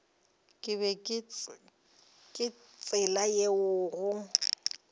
ke ka tsela yeo go